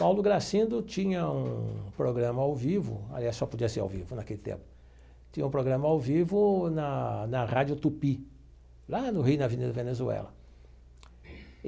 Paulo Gracindo tinha um programa ao vivo, aliás, só podia ser ao vivo naquele tempo, tinha um programa ao vivo na na Rádio Tupi, lá no Rio na Avenida Venezuela.